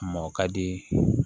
Mɔɔ ka di